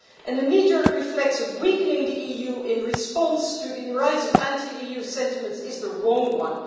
The kneejerk reflex of weakening the EU in response to the rise of anti EU sentiments is the wrong one.